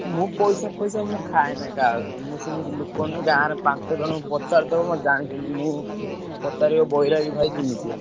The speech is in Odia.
ମୁଁ ପଇସା ଫଇସା ମୁଁ ଖାଏନି କାହା କତିରୁ ମୁଁ ସେମିତି ଲୋକ ନୁହେଁ ଗାଁ ରେ ପାଞ୍ଚ ଜଣଙ୍କୁ ପଚାରିଦବ ମତେ ଜାଣିଛନ୍ତି ମୁଁ ପଚାରିବ ବୈରାଗି ଭାଇ କେମିତିଆ।